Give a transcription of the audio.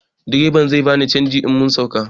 Direban zai bani canji in mun sauka